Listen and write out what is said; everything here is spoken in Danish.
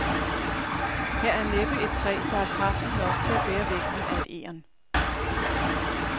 Her er næppe et træ, der er kraftigt nok til at bære vægten af et egern.